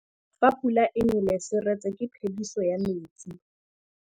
Fa pula e nelê serêtsê ke phêdisô ya metsi.